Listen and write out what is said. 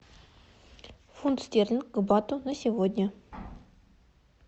фунт стерлинг к бату на сегодня